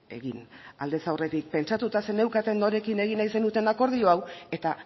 egin aldez aurretik pentsatuta zeneukaten norekin egin nahi zenuten akordio hau eta